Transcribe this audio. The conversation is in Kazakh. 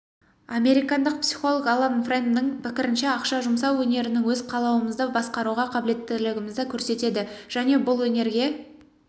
американдық психолог алан фрэнмнің пікірінше ақша жұмсау өнерінің өз қалауымызды басқаруға қабілеттілігімізді көрсетеді және бұл өнерге